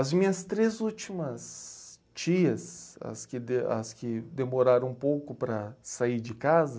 As minhas três últimas tias, as que de, as que demoraram um pouco para sair de casa...